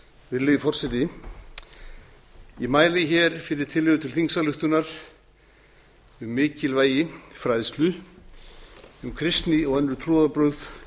virðulegi forseti ég mæli hér fyrir tillögu til þingsályktunar um mikilvægi fræðslu um kristni og önnur trúarbrögð